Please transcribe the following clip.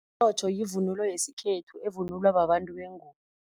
Umtjhotjho yivunulo yesikhethu evunulwa babantu bengubo.